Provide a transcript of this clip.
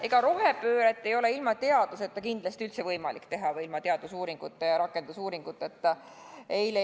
Ega rohepööret ei ole ilma teaduseta või ilma teadusuuringute ja rakendusuuringuteta kindlasti üldse võimalik teha.